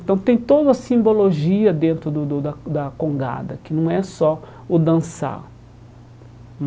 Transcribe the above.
Então tem toda a simbologia dentro do do da da congada, que não é só o dançar.